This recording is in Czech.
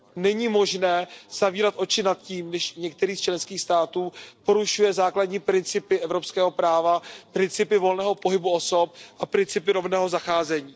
Není možné zavírat oči nad tím, když některý z členských států porušuje základní principy evropského práva, principy volného pohybu osob a principy rovného zacházení.